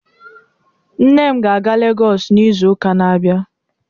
Nne m ga-aga Legọs n'izu ụka na-abịa